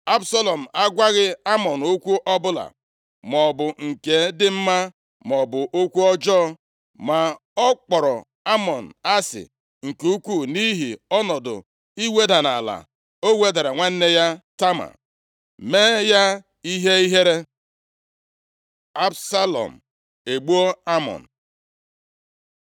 Absalọm agwaghị Amnọn okwu ọbụla, maọbụ nke dị mma, maọbụ okwu ọjọọ. Ma ọ kpọrọ Amnọn asị nke ukwuu nʼihi ọnọdụ iweda nʼala o wedara nwanne ya Tama, mee ya ihe ihere. Absalọm egbuo Amnọn